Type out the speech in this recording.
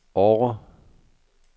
Årre